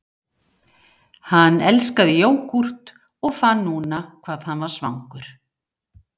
Hann elskaði jógúrt og fann núna hvað hann var svangur